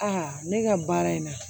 A ne ka baara in na